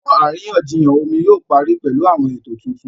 Àwọn àríyànjiyàn omi yóò parí pẹ̀lú àwọn ètò tuntun